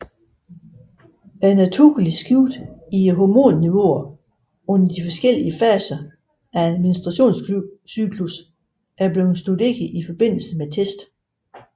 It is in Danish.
Det naturlige skift i hormonniveauer under de forskellige faser af en menstruationscyklus er blevet studeret i forbindelse med tests